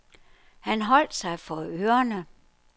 Han holdt sig for ørerne.